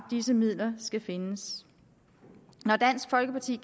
disse midler skal findes når dansk folkeparti